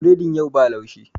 Biredin yau ba laushi